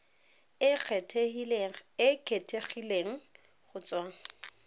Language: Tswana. e e kgethegileng go tswa